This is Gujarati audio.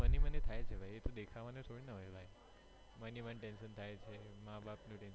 મન હી મન થાય છે ભાઈ એ તો દેખાવાનું થોડી ના હોય ભાઈ મન હી મન tension થાય છે માં બાપ નું tension થાય છે માં બાપ નું